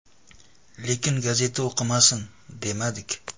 Lekin gazeta o‘qimasin, demadik.